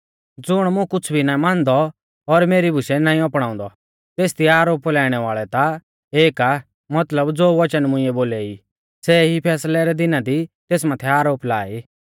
ज़ुण मुं कुछ़ भी ना मानदौ और मेरी बुशै नाईं अपणाउंदौ तेसदी आरोप लाइणै वाल़ौ ता एक आ मतलब ज़ो वचन मुंइऐ बोलै ई सै ई फैसलै रै दिना दी तेस माथै आरोप ला ई